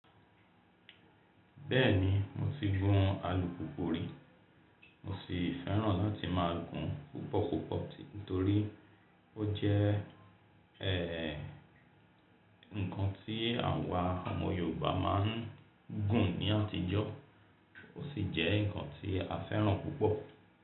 Bẹ́ẹ̀ni, mo ti gún alùpùpù rí. Mo sì fẹ́ràn láti máa gùn púpọ̀púpọ̀ tí, nítorí ó jẹ́, ẹ́, ǹkan tí àwa ọmọ Yorùbá máa ń gùn ní àtijọ́, ó sì jẹ́ ǹkan tí a fẹ́ràn púpọ̀